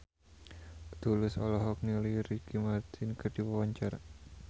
Tulus olohok ningali Ricky Martin keur diwawancara